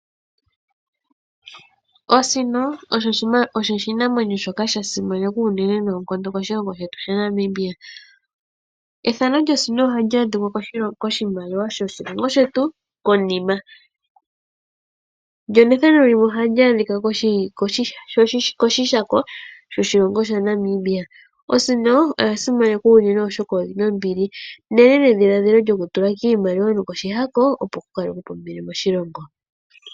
Oosino osho oshinamwenyo shoka sha simanekwa unene noonkondo moshilongo shetu shaNamibia. Ethano lyosino oha li adhikwa koshimaliwa shoshilongo shetu konima. Ndyo nethano lyayo oha li adhikwa koshihako shoshilongo shaNamibia. Osino oya simanekwa unene oshoka oyi na ombili, nenedhiladhilo lyokutula kiimaliwa nokoshihako; opo ku kalekwe po ombili moshilongo.